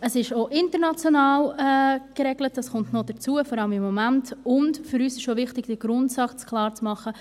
Es ist auch international geregelt, dies kommt hinzu, vor allem im Moment, und für uns ist auch wichtig, den Grundsatz klar zu machen: